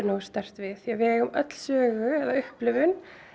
sterkt við því að við eigum öll sögu eða upplifun